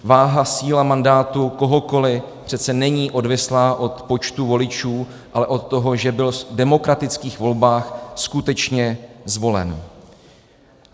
Váha, síla mandátu kohokoli přece není odvislá od počtu voličů, ale od toho, že byl v demokratických volbách skutečně zvolen.